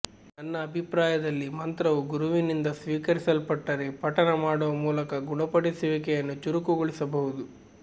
ನನ್ನ ಅಭಿಪ್ರಾಯದಲ್ಲಿ ಮಂತ್ರವು ಗುರುವಿನಿಂದ ಸ್ವೀಕರಿಸಲ್ಪಟ್ಟರೆ ಪಠಣ ಮಾಡುವ ಮೂಲಕ ಗುಣಪಡಿಸುವಿಕೆಯನ್ನು ಚುರುಕುಗೊಳಿಸಬಹುದು